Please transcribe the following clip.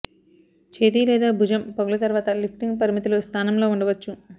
చేతి లేదా భుజం పగులు తర్వాత లిఫ్టింగ్ పరిమితులు స్థానంలో ఉండవచ్చు